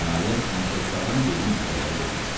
Nəhayət, matroslardan birinin əsəbləri dözmədi.